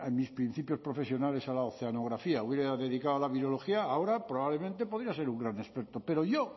mis principios profesionales a la oceanografía hubiera dedicado a la virología ahora probablemente podría ser un gran experto pero yo